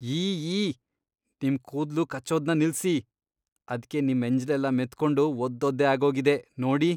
ಯೀಈ! ನಿಮ್ ಕೂದ್ಲು ಕಚ್ಚೋದ್ನ ನಿಲ್ಸಿ. ಅದ್ಕೆ ನಿಮ್ ಎಂಜ್ಲೆಲ್ಲ ಮೆತ್ಕೊಂಡು ಒದ್ದೊದ್ದೆ ಆಗೋಗಿದೆ, ನೋಡಿ.